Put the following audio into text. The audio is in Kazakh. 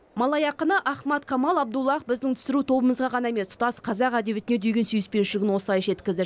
малай ақыны ахмад камал абдуллах біздің түсіру тобымызға ғана емес тұтас қазақ әдебиетіне деген сүйіспеншілігін осылай жеткізді